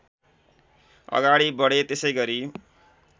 अगाडि बढे त्यसैगरी